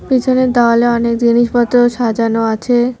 পিছনের দাওয়ালে অনেক জিনিসপত্র সাজানো আছে।